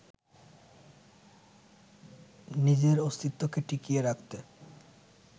নিজের অস্তিত্বকে টিকিয়ে রাখতে